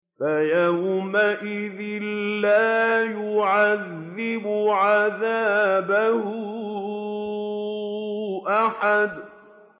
فَيَوْمَئِذٍ لَّا يُعَذِّبُ عَذَابَهُ أَحَدٌ